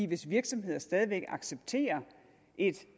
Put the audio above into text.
hvis virksomheder stadig væk accepterer et